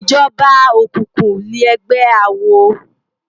Ijòbá ókúkú lègbè àwó